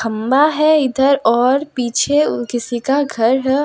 खंभा है इधर और पीछे किसी का घर --